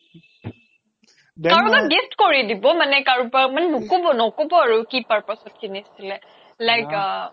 কাৰোবাক gift কৰি দিব মানে কাৰোবাক ন্কব ন্কব আৰু কি purpose ত কিনিছিলে like আ